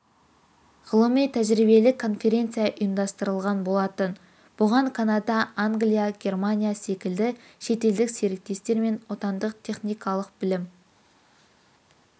ғылыми-тәжірибелік конференция ұйымдастырылған болатын бұған канада англия германия секілді шетелдік серіктестер мен отандық техникалық білім